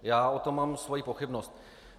Já o tom mám svoji pochybnost.